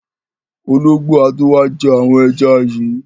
Ológbò á tó wá jẹ́ àwọn ẹja yìí.